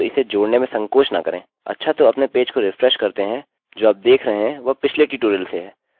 चलिए इसको नहीं दर्शाते हैं